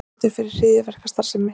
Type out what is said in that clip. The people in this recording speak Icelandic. Sakfelldur fyrir hryðjuverkastarfsemi